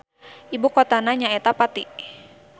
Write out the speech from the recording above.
Ibukotana nyaeta Pati.